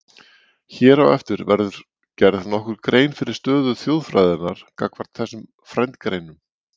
Hér á eftir verður gerð nokkur grein fyrir stöðu þjóðfræðinnar gagnvart þessum frændgreinum.